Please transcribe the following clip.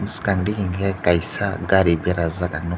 bwskang digi ke kaisa gari berajaak ang nug--